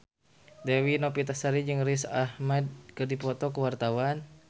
Dewi Novitasari jeung Riz Ahmed keur dipoto ku wartawan